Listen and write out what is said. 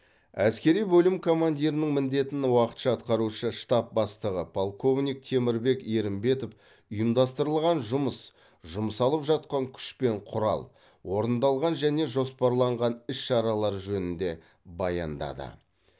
әскери бөлім командирінің міндетін уақытша атқарушы штаб бастығы полковник темірбек ерімбетов ұйымдастырылған жұмыс жұмсалып жатқан күш пен құрал орындалған және жоспарланған іс шаралар жөнінде баяндады